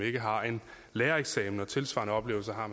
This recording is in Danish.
ikke har en lærereksamen tilsvarende oplevelser har